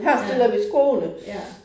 Ja, ja